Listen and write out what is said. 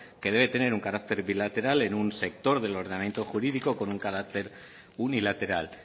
que debe tener un carácter bilateral en un sector del ordenamiento jurídico con un carácter unilateral